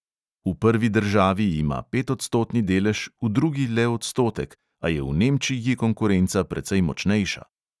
V prvi državi ima petodstotni delež, v drugi le odstotek, a je v nemčiji konkurenca precej močnejša.